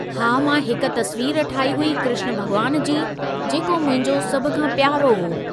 हा मां हिक तस्वीर ठाही हुई कृष्ण भॻवान जी, जेको मुंहिंजो सभ खां प्यारो हो।